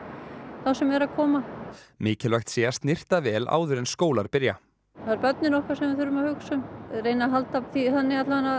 þá sem eru að koma mikilvægt sé að snyrta vel áður en skólar byrja það eru börnin okkar sem við þurfum að hugsa um reyna að halda því þannig að